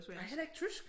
Ej heller ikke tysk?